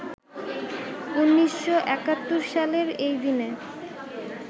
১৯৭১ সালের এই দিনে